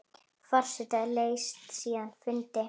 Forseti sleit síðan fundi.